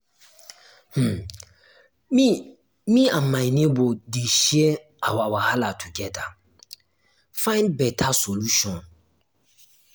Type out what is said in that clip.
um me um me and my nebor dey share um our um wahala togeda find beta solution.